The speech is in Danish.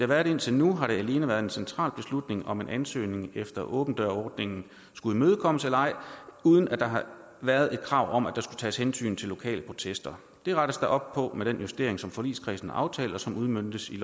været indtil nu har det alene været en central beslutning om en ansøgning efter åben dør ordningen skulle imødekommes eller ej uden at der har været et krav om at der skulle tages hensyn til lokale protester det rettes der op på med den justering som forligskredsen har aftalt og som udmøntes i